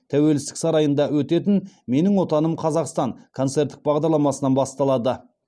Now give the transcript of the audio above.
тәуелсіздік сарайында өтетін менің отаным қазақстан концерттік бағдарламасынан басталады